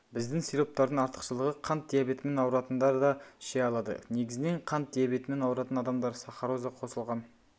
біздің сироптардың артықшылығы қант диабетімен ауыратындар да іше алады негізінен қант диабетімен ауыратын адамдар сахароза қосылған